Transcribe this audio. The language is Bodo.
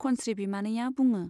खनस्री बिमानैया बुङो।